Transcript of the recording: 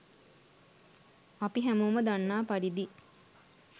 අපි හැමෝම දන්නා පරිදි